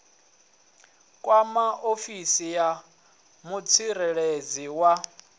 kwama ofisi ya mutsireledzi wa